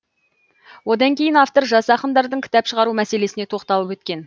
одан кейін автор жас ақындардың кітап шығару мәселесіне тоқталып өткен